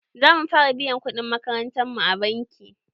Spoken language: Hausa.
Za mu fara biyan kuɗin makarantar mu a banki.